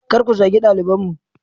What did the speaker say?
Kar ku zagi dalibanmu!